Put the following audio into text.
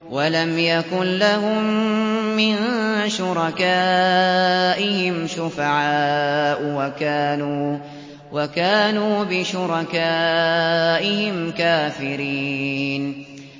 وَلَمْ يَكُن لَّهُم مِّن شُرَكَائِهِمْ شُفَعَاءُ وَكَانُوا بِشُرَكَائِهِمْ كَافِرِينَ